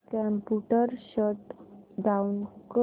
computer shut down कर